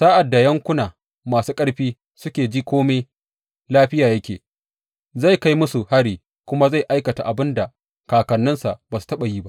Sa’ad da yankuna mafi arziki suke ji kome lafiya yake, zai kai musu hari kuma Zai aikata abin da kakanninsa ba su taɓa yi ba.